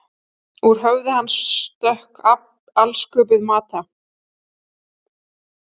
Úr höfði hans stökk alsköpuð Mata